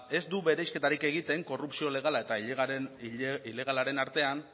ez du bereizketarik egiten korrupzio legala eta ilegalaren artean